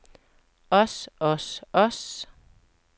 os os os